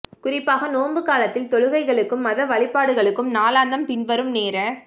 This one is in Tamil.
குறிப்பாக நோன்பு காலத்தில் தொழுகைகளுக்கும் மத வழிபாடுகளுக்கும் நாளாந்தம் பின்வரும் நேர